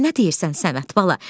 Sən nə deyirsən Səməd bala?